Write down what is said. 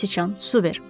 Göysçan, su ver.